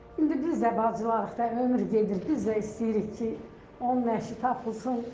İndi biz də bacılarıq da, ömür gedir, biz də istəyirik ki, onun nəşi tapılsın.